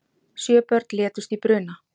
Sjö börn létust í bruna